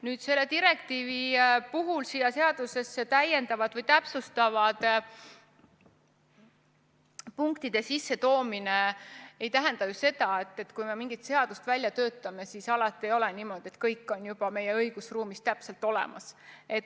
Nüüd, selle direktiiviga seoses seadusesse täpsustavate punktide sissetoomisest: kui me mingit seadust välja töötame, siis ei ole ju alati niimoodi, et kõik on meie õigusruumis juba täpselt olemas.